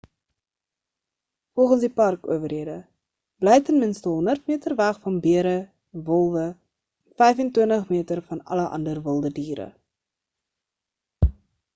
volgens die parkowerhede bly ten minste 100 meter weg van bere wolwe en 25 meter van alle ander wilde diere